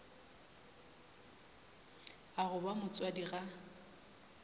a go ba motswadi ga